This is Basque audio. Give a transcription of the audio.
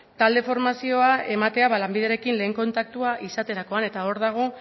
talde formazioa ematea lanbiderekin lehen kontaktua izaterakoan eta hor dago